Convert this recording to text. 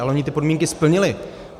Ale oni ty podmínky splnili.